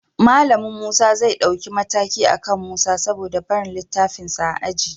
Malamin Musa zai ɗauki mataki akan Musa saboda barin littafansa a aji